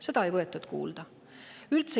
Seda ei võetud kuulda.